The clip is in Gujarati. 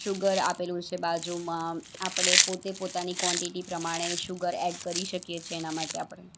ચુગર આપેલું છે બાજુમાં આપડે પોતે પોતાની કોન્ટીટી પ્રમાણે શુગર એડ કરી શકીએ છે એના માટે આપડે.